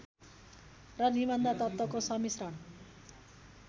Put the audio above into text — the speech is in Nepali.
र निबन्ध तत्त्वको सम्मिश्रण